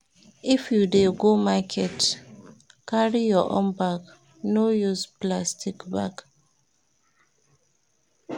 If you dey go market, carry your own bag, no use plastic bag.